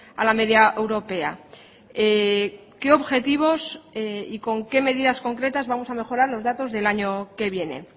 a la media europea qué objetivos y con qué medidas concretas vamos a mejorar los datos del año que viene